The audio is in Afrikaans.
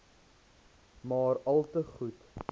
maar alte goed